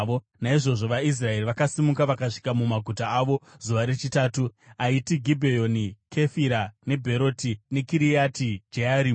Naizvozvo vaIsraeri vakasimuka vakasvika mumaguta avo zuva rechitatu: aiti Gibheoni, neKefira, neBheroti, neKiriati Jearimi.